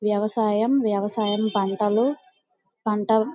వ్యవసాయం వ్యవసాయం పంటలు పంట--